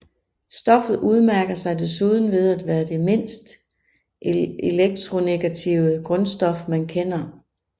Stoffet udmærker sig desuden ved at være det mindst elektronegative grundstof man kender